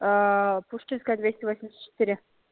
пушкинская двести восемьдесят четыре